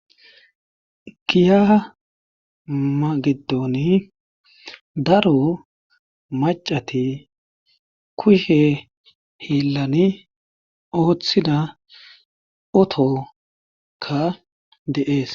Giya magidooni daro macati kushe hiillani ooththida otokka de7ees